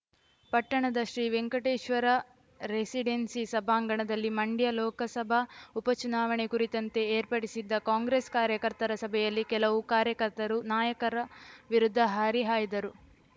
ಪಟ್ಟಣದ ಶ್ರೀವೆಂಕಟೇಶ್ವರ ರೆಸಿಡೆನ್ಸಿ ಸಭಾಂಗಣದಲ್ಲಿ ಮಂಡ್ಯ ಲೋಕಸಭಾ ಉಪ ಚುನಾವಣೆ ಕುರಿತಂತೆ ಏರ್ಪಡಿಸಿದ್ದ ಕಾಂಗ್ರೆಸ್‌ ಕಾರ್ಯಕರ್ತರ ಸಭೆಯಲ್ಲಿ ಕೆಲವು ಕಾರ್ಯಕರ್ತರು ನಾಯಕರ ವಿರುದ್ಧ ಹರಿಹಾಯ್ದರು